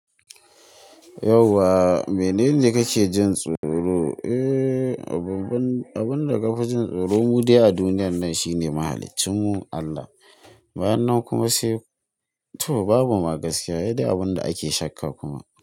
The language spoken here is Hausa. Yauwa, menene kake jin tsoro? Eee, abun da ka fi jin tsoro mu dai a duniyan nan shine mahalicin Allah. Bayan nan kuma sai to babu ma gaskiya, yadda abunda ake shakka kuma.